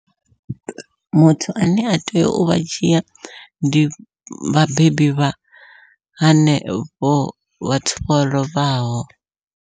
Muthu ane a tea uvha dzhia ndi vhabebi vha henevho vhathu vho lovhaho.